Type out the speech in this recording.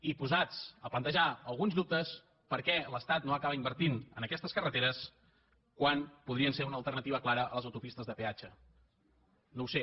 i posats a plantejar alguns dubtes per què l’estat no acaba invertint en aquestes carreteres quan podrien ser una alternativa clara a les autopistes de peatge no ho sé